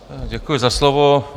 Děkuji za slovo.